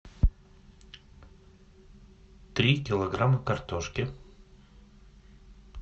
три килограмма картошки